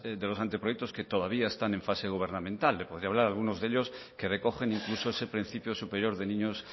de los anteproyectos que todavía están en fase gubernamental le podría hablar de algunos de ellos que recogen incluso ese principio superior de niños